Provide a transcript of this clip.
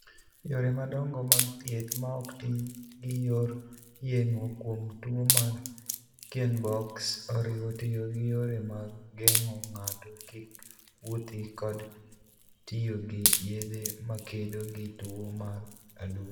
Yore madongo mag thieth maok ti gi yor yeng'o kuom tuo mar Kienbocks oriwo tiyo gi yore mag geng'o ng'ato kik wuothi kod tiyo gi yedhe makedo gi tuwo mar adundo.